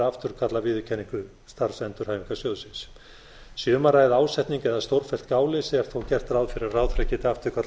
afturkalli viðurkenningu starfsendurhæfingarsjóðsins sé um að ræða ásetning eða stórfellt gáleysi er þó gert ráð fyrir að ráðherra